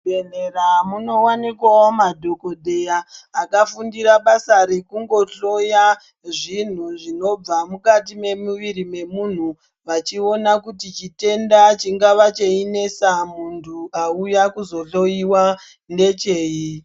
Muzvibhedhlera munowanikwawo madhokodheya akafundira basa rekungohloya zvinhu zvinobva mukati memumwiri wemuntu vachiona kuti chitenda chingave cheinesa mumuviri wemuntu auya kuzohloiwa ndechei.